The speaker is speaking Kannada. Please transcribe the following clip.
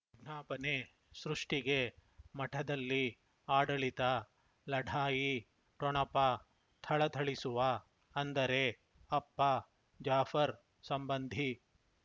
ವಿಜ್ಞಾಪನೆ ಸೃಷ್ಟಿಗೆ ಮಠದಲ್ಲಿ ಆಡಳಿತ ಲಢಾಯಿ ಠೊಣಪ ಥಳಥಳಿಸುವ ಅಂದರೆ ಅಪ್ಪ ಜಾಫರ್ ಸಂಬಂಧಿ